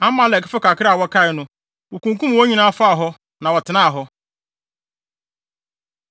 Amalekfo kakra a wɔkae no, wokunkum wɔn nyinaa, faa hɔ, na wɔtenaa hɔ.